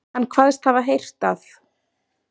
Hann kvaðst hafa heyrt að